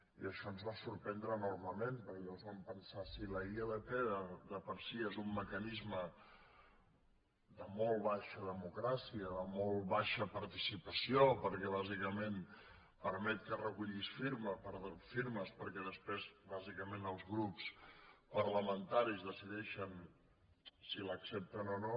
i això ens va sorprendre enormement perquè llavors vam pensar si la ilp de per si és un mecanisme de molt baixa democràcia de molt baixa participació perquè bàsicament permet que recullis firmes perquè després bàsicament els grups parlamentaris decideixen si l’accepten o no